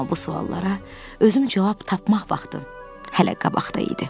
Amma bu suallara özüm cavab tapmaq vaxtı hələ qabaqda idi.